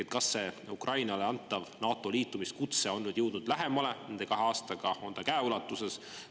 Ehk kas see Ukrainale antav NATO-ga liitumise kutse on nüüd jõudnud lähemale nende kahe aastaga, on see käeulatuses?